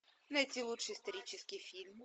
найти лучший исторический фильм